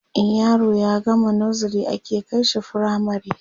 in yaro ya gama nursery ake kaishi firamare